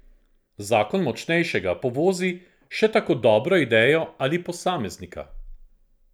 Zakon močnejšega povozi še tako dobro idejo ali posameznika.